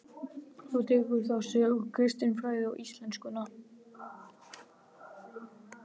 Þú tekur þá söguna, kristinfræðina og íslenskuna.